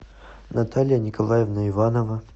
наталья николаевна иванова